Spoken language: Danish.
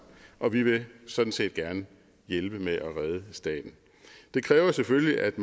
og vi vil sådan set gerne hjælpe med at redde staten det kræver selvfølgelig at